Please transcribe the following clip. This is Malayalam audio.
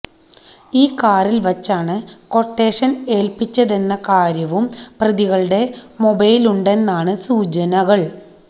ഈ കാറില് വച്ചാണ് കൊട്ടേഷൻ ഏൽപ്പിച്ചതെന്ന കാര്യവും പ്രതികളുടെ മൊഴിയിലുണ്ടെന്നാണ് സൂചനകള്